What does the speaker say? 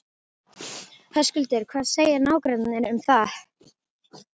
Höskuldur: Hvað segja nágrannarnir um það?